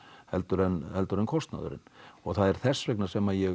heldur en heldur en kostnaðurinn og það er þess vegna sem ég